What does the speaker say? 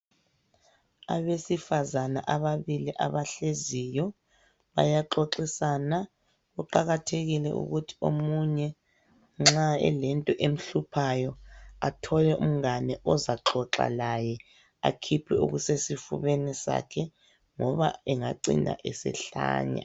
Abesifazana ababili abahleziyo bayaxoxisana kuqakathekile ukuthi omunye nxa elento emhluphayo athole umgane ozaxaxa laye akhiphe okusesifubeni sakhe ngoba engacina esehlanya .